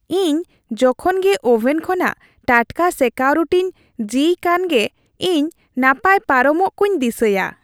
ᱤᱧ ᱡᱚᱠᱷᱚᱱ ᱜᱮ ᱳᱵᱷᱮᱱ ᱠᱷᱚᱱᱟᱜ ᱴᱟᱴᱠᱟ ᱥᱮᱠᱟᱣ ᱨᱩᱴᱤᱧ ᱡᱤᱭ ᱠᱦᱟᱱᱜᱮ ᱤᱧ ᱱᱟᱯᱟᱭ ᱯᱟᱨᱚᱢᱟᱜ ᱠᱚᱧ ᱫᱤᱥᱟᱹᱭᱟ ᱾